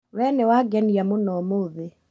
We nĩwangenia mũno ũmũthĩ